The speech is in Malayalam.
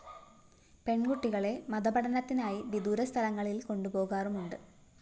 പെണ്‍കുട്ടികളെ മതപഠനത്തിനായി വിദൂരസ്ഥലങ്ങളില്‍ കൊണ്ടുപോകാറുമുണ്ട്